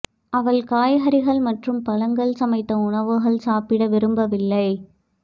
அவள் காய்கறிகள் மற்றும் பழங்கள் சமைத்த உணவுகள் சாப்பிட விரும்பவில்லை